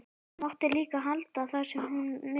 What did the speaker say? Mátti líka halda það sem hún vildi.